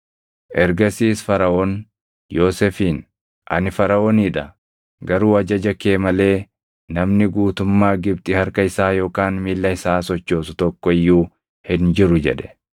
Ergasiis Faraʼoon Yoosefiin, “Ani Faraʼoonii dha; garuu ajaja kee malee namni guutummaa Gibxi harka isaa yookaan miilla isaa sochoosu tokko iyyuu hin jiru” jedhe.